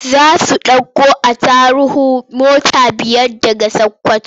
Za su ɗauko attaruhu mota biyar daga Sakkwato.